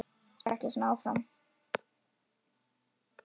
Þetta gengur ekki svona áfram.